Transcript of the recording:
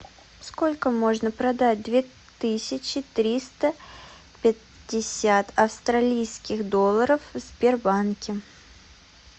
сколько можно продать две тысячи триста пятьдесят австралийских долларов в сбербанке